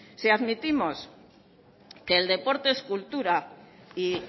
si admitimos que el deporte es cultura y